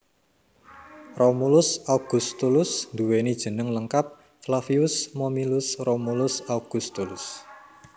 Romulus Augustulus nduweni jeneng lengkap Flavius Momyllus Romulus Augustulus